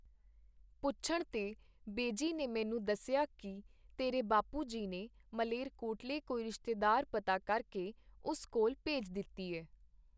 ਪੁੱਛਣ ਤੇ ਬੇਜੀ ਨੇ ਮੈਨੂੰ ਦੱਸਿਆ ਕੀ ਤੇਰੇ ਬਾਪੂ ਜੀ ਨੇ ਮਲੇਰਕੋਟਲੇ ਕੋਈ ਰਿਸ਼ਤੇਦਾਰ ਪਤਾ ਕਰਕੇ ਉਸ ਕੋਲ ਭੇਜ ਦਿੱਤੀ ਐ.